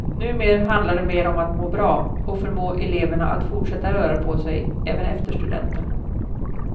Numer handlar det mer om att må bra och förmå eleverna att fortsätta röra på sig även efter studenten.